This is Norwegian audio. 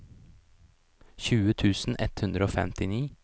tjue tusen ett hundre og femtini